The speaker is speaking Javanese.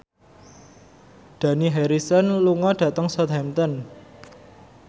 Dani Harrison lunga dhateng Southampton